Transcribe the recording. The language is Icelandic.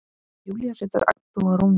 Júlía situr agndofa á rúminu.